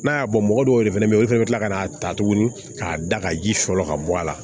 N'a y'a bɔ mɔgɔ dɔw de fɛnɛ be yen olu fɛnɛ bi kila ka n'a ta tuguni k'a da ka ji sɔrɔ ka bɔ a la